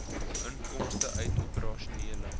inkomste uit operasionele